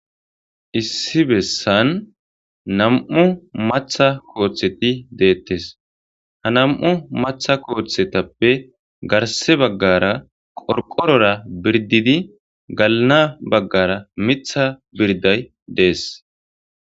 issi bessan nam7u matha kooththeti deettes ha nam7u matha kooththetappe garse baggara qorqorora birdidi galana baggara mitha birday dees